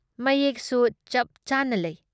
ꯃꯌꯦꯛꯁꯨ ꯆꯞꯆꯥꯅ ꯂꯩ ꯫